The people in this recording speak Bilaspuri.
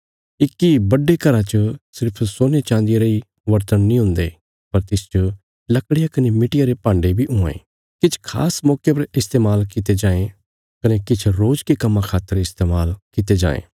इक्की बड्डे घरा च सिर्फ सोनेचाँदिया रेई बरतण नीं हुंदे पर तिसच लकड़िया कने मिट्टिया रे भान्डे बी हुआं ये किछ खास मौके पर इस्तेमाल कित्ते जांये कने किछ रोज के कम्मां खातर इस्तेमाल कित्ते जांये